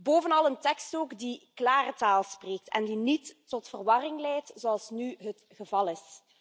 Bovenal een tekst ook die klare taal spreekt en die niet tot verwarring leidt, zoals nu het geval is.